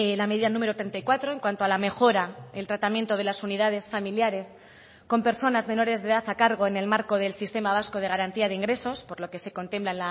la medida número treinta y cuatro en cuanto a la mejora el tratamiento de las unidades familiares con personas menores de edad a cargo en el marco del sistema vasco de garantía de ingresos por lo que se contempla